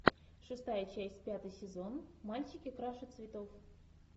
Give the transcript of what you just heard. шестая часть пятый сезон мальчики краше цветов